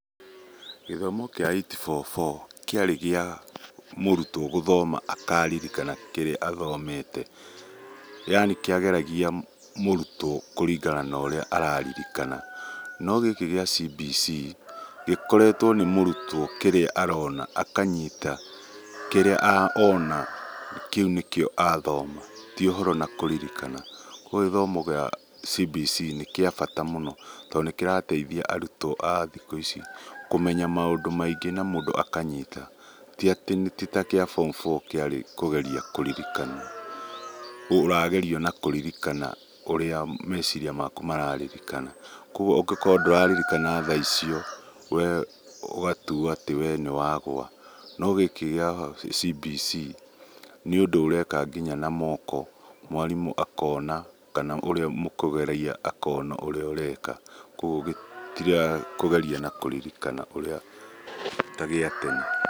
Gĩthomo kĩa 8-4-4 kĩarĩ kĩa mũrutwo gũthoma akaaririkana kĩrĩa athomete yaani kĩageragia mũrutwo kũringana na ũrĩa araririkana. No gĩkĩ kĩa CBC gĩkoretwo nĩ mũrutwo kĩrĩa arona akanyita, kĩrĩa ona kĩu nĩkĩo athoma ti ũhoro na kũririkana. Koguo gĩthomo gĩa CBC nĩ gĩa bata mũno tondũ nĩ kĩrateithia arutwo a thikũ ici kũmenya maũndũ maingĩ na mũndũ akanyita, ti atĩ ti ta kĩa form four kĩarĩ kũgeria kũririkana ũragerio na kũririkana. Koguo ũngĩkorwo ndũraririkana thaa icio ũgatuo atĩ we nĩ wagũa. No gĩkĩ kĩa CBC nĩ ũndũ ũreka nginya na moko, mwarimũ akona kana ũrĩa mũkũgeria akona ũrĩa ũreka. Koguo gĩtirakũgeria na kũririkana ũrĩa ta gĩa tene.